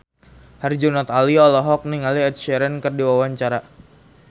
Herjunot Ali olohok ningali Ed Sheeran keur diwawancara